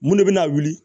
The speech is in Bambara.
Mun de bɛna wuli